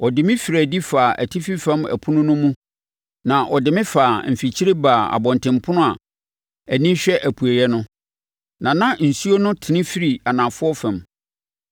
Ɔde me firii adi faa atifi fam ɛpono no mu na ɔde me faa mfikyire baa abɔntenpono a ani hwɛ apueeɛ no, na na nsuo no tene firi anafoɔ fam.